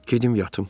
Gedim yatım.